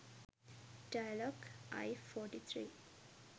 dialog i43